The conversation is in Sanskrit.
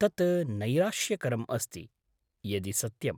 तत् नैराश्यकरम् अस्ति, यदि सत्यम्।